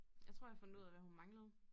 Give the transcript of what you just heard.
Jeg tror jeg fundet ud af hvad hun manglede